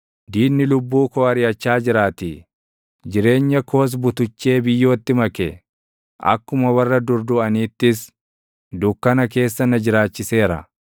Diinni lubbuu koo ariʼachaa jiraatii; jireenya koos butuchee biyyootti make. Akkuma warra dur duʼaniittis dukkana keessa na jiraachiseera.